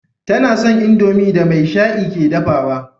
Tana son indomie da maishai ke dafawa